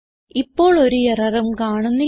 ഇപ്പോൾ ഒരു എററും കാണുന്നില്ല